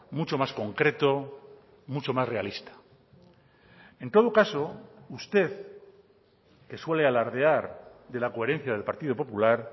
mucho más concreto mucho más realista en todo caso usted que suele alardear de la coherencia del partido popular